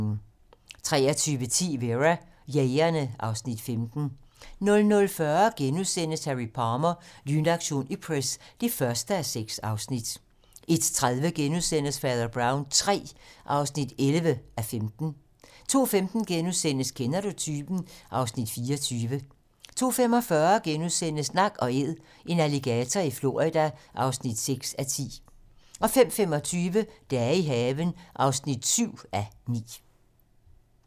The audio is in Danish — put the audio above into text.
23:10: Vera: Jægerne (Afs. 15) 00:40: Harry Palmer - Lynaktion Ipcress (1:6)* 01:30: Fader Brown III (11:15)* 02:15: Kender du typen? (Afs. 24)* 02:45: Nak & Æd - en alligator i Florida (6:10)* 05:25: Dage i haven (7:9)